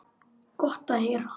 Gott að heyra.